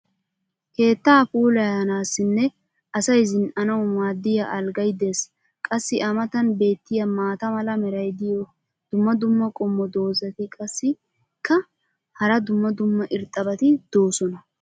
keettaa puulayanaassinne asay zin'anawu maadiya alggay des. qassi a matan beetiya maata mala meray diyo dumma dumma qommo dozzati qassikka hara dumma dumma irxxabati doosona.